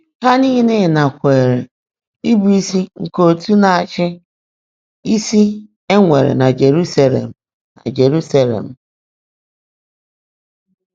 Há níle nàkwèèré ị́bụ́ísí nkè ọ̀tú́ ná-áchị́ ísí é nwèrè nà Jèruúsálé̀m. nà Jèruúsálé̀m.